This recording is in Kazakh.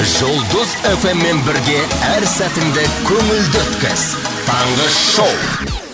жұлдыз эф эм мен бірге әр сәтіңді көңілді өткіз таңғы шоу